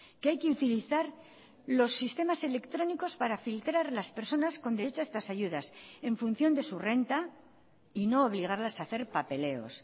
que hay que utilizar los sistemas electrónicos para filtrar las personas con derecho a estas ayudas en función de su renta y no obligarlas a hacer papeleos